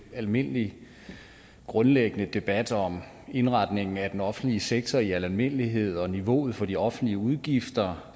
almindelig grundlæggende debat om indretning af den offentlige sektor i al almindelighed og niveauet for de offentlige udgifter